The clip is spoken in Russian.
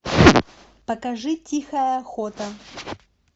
покажи тихая охота